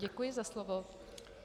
Děkuji za slovo.